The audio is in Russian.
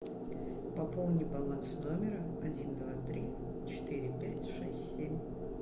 пополни баланс номера один два три четыре пять шесть семь